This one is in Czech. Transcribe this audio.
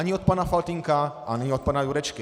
Ani od pana Faltýnka, ani od pana Jurečky.